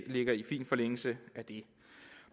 ligger i fin forlængelse af det